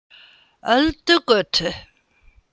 Öldugötu